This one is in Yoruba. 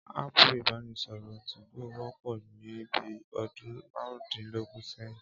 Áàpù ìbánisọ̀rọ̀ 2go wọ́pọ̀ ní bí ọdún márùndínlógún sẹ́yìn